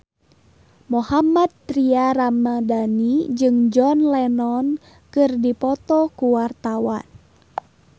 Mohammad Tria Ramadhani jeung John Lennon keur dipoto ku wartawan